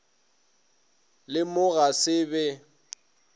le mo ga se be